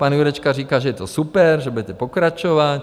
Pan Jurečka říká, že je to super, že budete pokračovat.